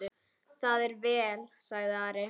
Það er vel, sagði Ari.